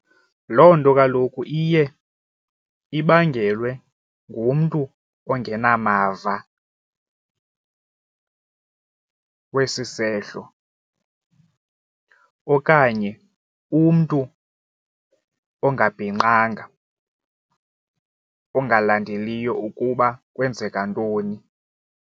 Loo nto kaloku iye ibangelwe ngumntu ongenamava wesi isehlo okanye umntu ongabhinqanga ongalandeliyo ukuba kwenzeka ntoni.